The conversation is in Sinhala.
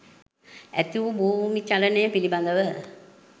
ඇතිවූ භූමිචලනය පිළිබඳව